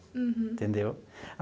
Uhum. Entendeu?